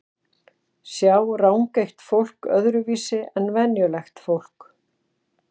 Sjá rangeygt fólk öðruvísi en venjulegt fólk?